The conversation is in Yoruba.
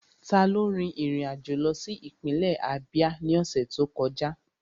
Taló rin ìrìn àjò lọ sí ìpínlẹ̀ Ábíá ní ọ̀sẹ̀ tó kọjá?